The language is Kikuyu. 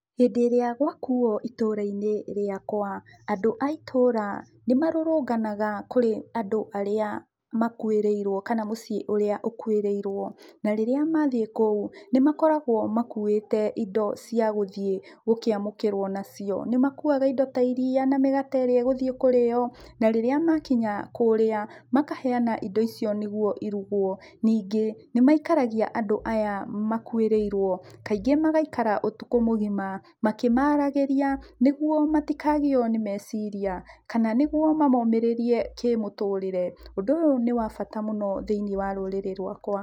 Hĩndĩ ĩrĩa gwakuo itũra-inĩ rĩakwa, andũ a itũra, nĩmarũrũnganaga kũrĩ andũ arĩa makuĩrĩirwo kana mũciĩ ũrĩa ũkuĩrĩirwo. Na rĩrĩa mathiĩ kũu, nĩmakoragwo makuĩte indo cia gũthiĩ gũkĩamũkĩrwo nacio. Nĩmakuaga indo ta iria na mĩgate ĩrĩa ĩgũthiĩ kũrĩo, na rĩrĩa makinya kũrĩa, makaheana indo icio nĩguo irugwo. Ningĩ, nĩmaikaragia andũ aya makuĩrĩirwo, kaingĩ magaikara ũtukũ mũgima, makĩmaragĩria, nĩguo matikagĩo nĩ meciriria, kana nĩguo mamomĩrĩrie kĩmũtũrĩre. Ũndũ ũyũ nĩ wa bata mũno thĩinĩ wa rũrĩrĩ rwakwa.